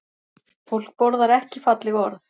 Fólk borðar ekki falleg orð